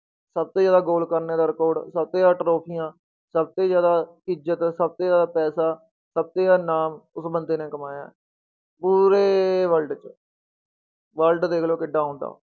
ਸਭ ਤੋਂ ਜ਼ਿਆਦਾ goal ਕਰਨੇ ਦਾ record ਸਭ ਤੋਂ ਜ਼ਿਆਦਾ ਟਰੋਫੀਆਂ, ਸਭ ਤੋਂ ਜ਼ਿਆਦਾ ਇੱਜਤ, ਸਭ ਤੋਂ ਜ਼ਿਆਦਾ ਪੈਸਾ, ਸਭ ਤੋਂ ਜ਼ਿਆਦਾ ਨਾਮ ਉਸ ਬੰਦੇ ਨੇ ਕਮਾਇਆ ਹੈ, ਪੂਰੇ world 'ਚ world ਦੇਖ ਲਓ ਕਿੱਡਾ ਹੁੰਦਾ।